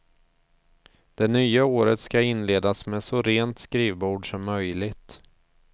Det nya året skall inledas med så rent skrivbord som möjligt.